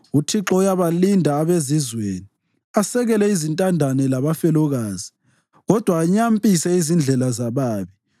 UThixo uyabalinda abezizweni asekele izintandane labafelokazi, kodwa anyampise izindlela zababi.